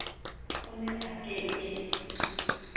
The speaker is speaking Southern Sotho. o ne a ke ke